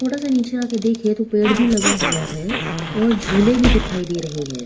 थोड़ा सा नीचे आके देखें तो पेड़ भी लगा हुआ है और झूले भी दिखाई दे रहे हैं --